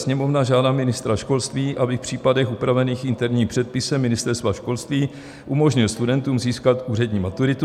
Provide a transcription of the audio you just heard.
Sněmovna žádá ministra školství, aby v případech upravených interním předpisem Ministerstva školství umožnil studentům získat úřední maturitu.